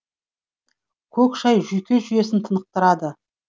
көк шай жүйке жүйесін тынықтырады